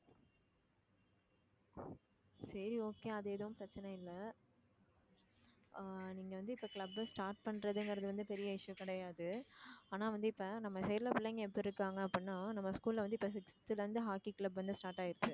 சரி okay அது எதுவும் பிரச்சனை இல்லை ஆஹ் நீங்க வந்து இப்ப club அ start பண்றதுங்கறது வந்து பெரிய issue கிடையாது ஆனா வந்து இப்ப நம்ம side ல பிள்ளைங்க எப்படி இருக்காங்க அப்படின்னா நம்ம school ல வந்து இப்ப sixth ல இருந்து hockey club வந்து start ஆயிருச்சு